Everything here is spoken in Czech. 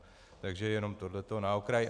Takže jenom tohle na okraj.